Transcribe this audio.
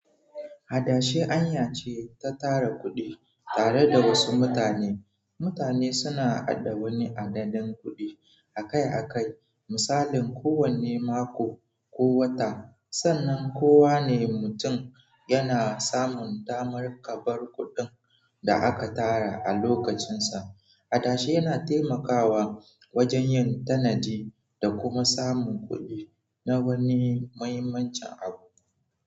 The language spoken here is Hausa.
Adashi hanya ce ta tara kuɗi tare da wasu mutane. Mutane suna haɗa wani hadaddan kuɗi akai-akai, misalin kowane mako ko wata, sannan kowane mutum yana samun damar kabar kuɗin da aka tara a lokacinsa. Hadashi yana taimakawa wajen yin tanadi da kuma samun kuɗi na wani muhimmanci abu.